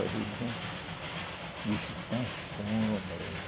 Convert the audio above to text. Eu vim aqui e disse, está escuro mesmo.